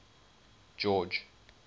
george